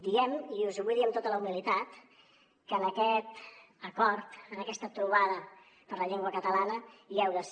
diem i us ho vull dir amb tota la humilitat que en aquest acord en aquesta trobada per la llengua catalana hi heu de ser